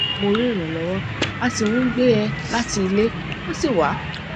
mo rí ìrànlọwọ a sì ń gbé e láti ilẹ ó sì wá